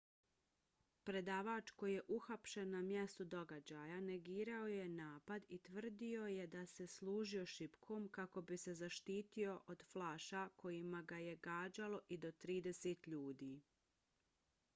predavač koji je uhapšen na mjestu događaja negirao je napad i tvrdio je da se služio šipkom kako bi se zaštitio od flaša kojima ga je gađalo i do trideset ljudi